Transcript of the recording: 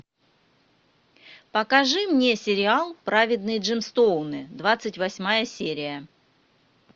покажи мне сериал праведные джемстоуны двадцать восьмая серия